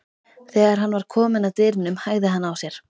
Þegar hann var kominn að dyrunum hægði hann á sér.